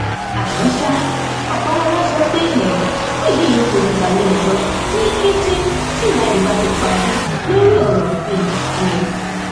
ọlárẹwájú sọ síwájú pé àwọn ti fi ìṣẹlẹ ìṣekúpani náà tó àwọn agbófinró létí wọn sì ti bẹrẹ ìwádìí kíákíá